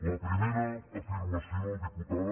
la primera afirmació diputada